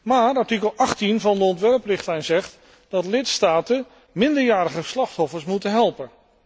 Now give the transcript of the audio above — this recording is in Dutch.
Maar artikel 18 van de ontwerprichtlijn zegt dat de lidstaten minderjarige slachtoffers moeten helpen.